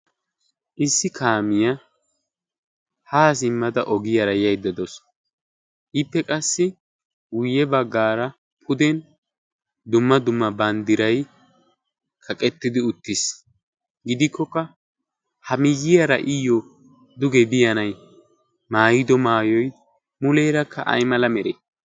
issi kaamiyaa haa zimmada ogiyaara yaydda daasu iippe qassi uyye baggaara puden dumma dumma banddirai kaqettidi uttiis gidikkokka ha miyyiyaara iyyo dugee biyanay maayido maayoy muleerakka ay mala meree